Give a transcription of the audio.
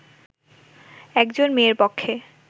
একজন মেয়ের পক্ষে